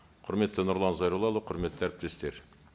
құрметті нұрлан зайроллаұлы құрметті әріптестер